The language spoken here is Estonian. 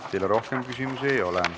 Teile rohkem küsimusi ei ole.